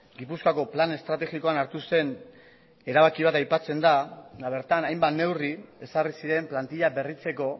gipuzkoako plan estrategikoan hartu zen erabaki bat aipatzen da eta bertan hainbat neurri ezarri ziren plantila berritzeko